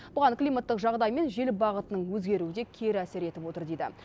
бұған климаттық жағдай мен жел бағытының өзгеруі де кері әсер етіп отыр дейді